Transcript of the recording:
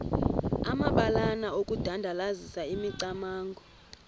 amabalana okudandalazisa imicamango